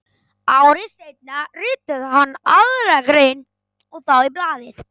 Ári seinna ritaði hann aðra grein og þá í blaðið